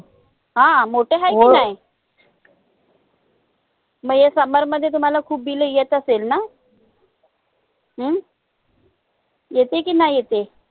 हा मोटे मग ये summer मध्ये तुम्हाला खूप Bill येत असेल ना? हम्म येते की नई येते?